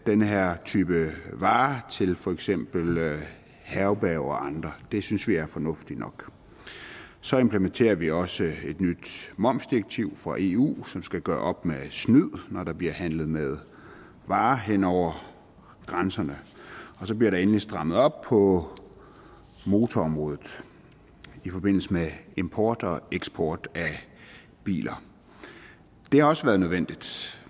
den her type varer til for eksempel herberger og andre det synes vi er fornuftigt nok så implementerer vi også et nyt momsdirektiv fra eu som skal gøre op med snyd når der bliver handlet med varer hen over grænserne og så bliver der endelig strammet op på motorområdet i forbindelse med import og eksport af biler det har også været nødvendigt